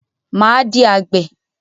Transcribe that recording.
Máa di àgbè.